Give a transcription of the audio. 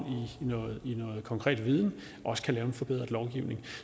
i noget konkret viden også kan lave en forbedret lovgivning